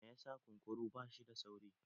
Me ya sa kunkuru ba shi da sauri?